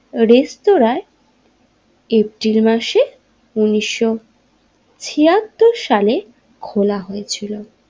রেস্তোরাঁয় এপ্রিল মাসে উনিশশো ছিয়াত্তর সালে খোলা হয়েছিল।